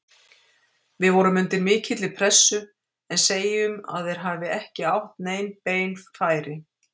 Við vorum undir mikilli pressu, en segjum að þeir hafi ekki átt nein bein færi.